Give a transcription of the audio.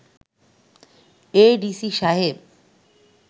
ADC Saheb